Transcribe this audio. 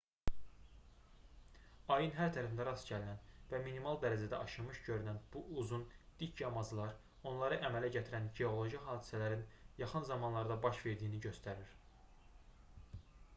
ayın hər tərəfində rast gəlinən və minimal dərəcədə aşınmış görünən bu uzun dik yamaclar onları əmələ gətirən geoloji hadisələrin yaxın zamanlarda baş verdiyini göstərir